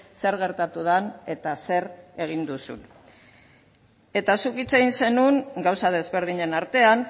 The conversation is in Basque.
zer gertatu den eta zer egin duzun eta zuk hitz egin zenuen gauza desberdinen artean